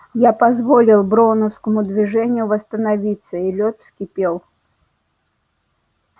я позволил броуновскому движению восстановиться и лёд вскипел